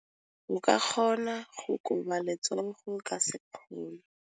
O ka kgona go koba letsogo ka sekgono.